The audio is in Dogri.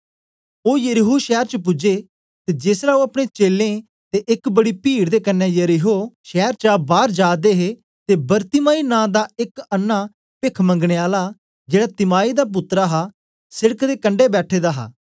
ओ यरीहो शैर च पूजे ते जेसलै ओ अपने चेलें ते एक बड़ी पीड दे कन्ने यरीहो शैर चा बार जा दे हे ते बरतिमाई नां दा एक अन्नां पेख मंगने आला जेड़ा तिमाई दा पुत्तर हा सेड़क दे कंडै बैठे दा हा